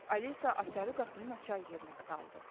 Alisa açarı qapının açar yerinə saldı.